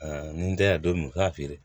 ni n tɛ yan don min u k'a feere